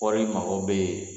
Kɔɔri mago bɛ